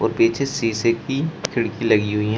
और पीछे शीशे की खिड़की लगी हुई हैं।